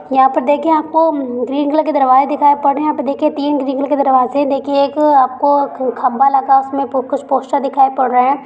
यहां पर देखिए आपको ग्रीन कलर के दरवाजे दिखाई पड़ रहे है तीन ग्रीन कलर दरवाजे देखिए एक आपको खम्भा लगा उसमें कुछ पोस्टर दिखाई पड़ रहे है।